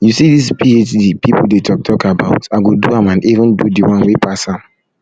you see dis phd people dey talk talk about i go do am and even do the one wey pass am